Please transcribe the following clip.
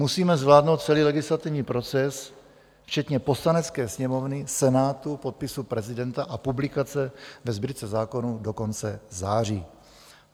Musíme zvládnout celý legislativní proces včetně Poslanecké sněmovny, Senátu, podpisu prezidenta a publikace ve Sbírce zákonů do konce září.